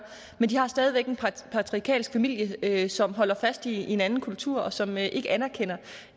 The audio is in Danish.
men de har stadig væk en patriarkalsk familie som holder fast i en anden kultur og som ikke anerkender